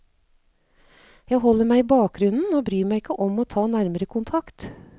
Jeg holder meg i bakgrunnen, og bryr meg ikke om å ta nærmere kontakt.